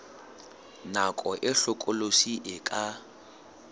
nako e hlokolosi e ka